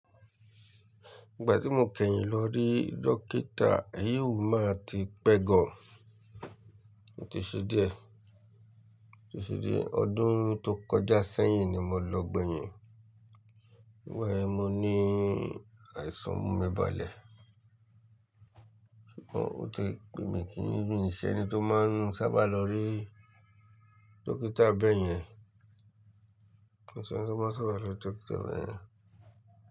Ìgbà tí mo kẹ́yìn lọ rí dókítà, èyí ò máa ti pẹ́ gan. Ó ti ṣe díẹ̀, ó ti ṣe díẹ̀. Ọdún tó kọjá sẹ́yìn ni mo lọ gbẹ̀yìn. Nígbà yẹn, mo ní àìsàn mú mi balẹ̀. Ó ti pẹ mí kí n mi ì ṣe ẹni tó máa ń sábà lọ rí dókítà bẹ́ẹ̀ yẹn. Ẹni tí wọ́n sábà ń lọ rí dókítà bẹ́ẹ̀ yẹn.